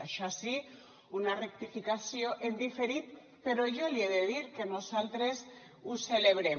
això sí una rectificació en diferit però jo li he de dir que nosaltres ho celebrem